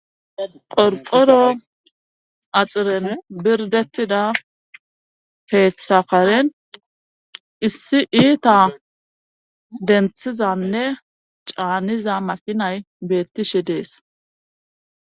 qorqoro axiren birdettida peeththa karen issi iita denthizanne caaniza makinay beettishe dees